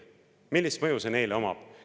Millist mõju see neile omab?